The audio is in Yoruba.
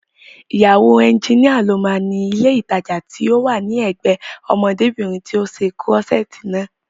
Ìyàwó ẹnjínìa ló máa ni ilé ìtajà tí ó wà ní ẹ̀gbẹ́ẹ ọmọdébìnrin tí ó ṣe kúrọ́ṣẹ̀ẹ̀tì naa